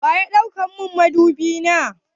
Wa ya ɗau madubi na?